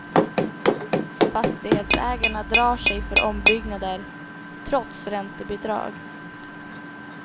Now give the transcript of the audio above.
Fastighetsägarna drar sig för ombyggnader, trots räntebidrag.